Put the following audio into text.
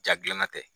Ja gilanna tɛ